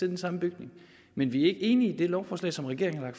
den samme bygning men vi enige i det lovforslag som regeringen har